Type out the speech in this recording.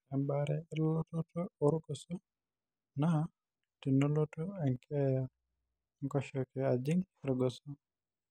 ore ebaare elototo oorgoso naa :tenolotu enkeeya enkoshoke ajing' irgoso.